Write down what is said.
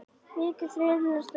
Rykið þyrlast upp.